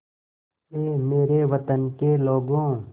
ऐ मेरे वतन के लोगों